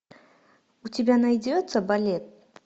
у тебя найдется балет